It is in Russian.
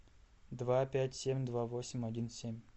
два пять семь два восемь один семь